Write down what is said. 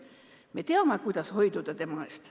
Me teame, kuidas temast hoiduda.